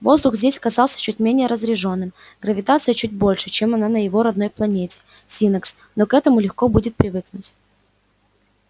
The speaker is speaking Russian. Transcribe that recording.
воздух здесь казался чуть менее разреженным гравитация чуть большей чем на его родной планете синнакс но к этому легко будет привыкнуть